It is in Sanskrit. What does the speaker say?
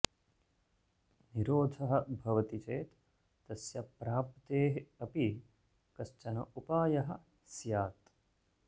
निरोधः भवति चेत् तस्य प्राप्तेः अपि कश्चन उपायः स्यात्